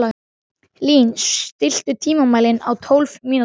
Lín, stilltu tímamælinn á tólf mínútur.